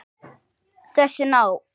Þessi ná